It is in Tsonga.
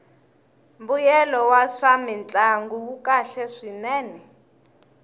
mbuyelo wa swamintlangu wu kahle swinene